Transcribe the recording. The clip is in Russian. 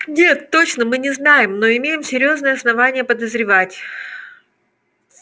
нет точно мы не знаем но имеем серьёзные основания подозревать